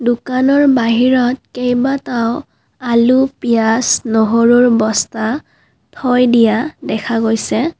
দোকানৰ বাহিৰত কেইবাটাও আলু পিয়াজ নহৰুৰ বস্তা থৈ দিয়া দেখা গৈছে।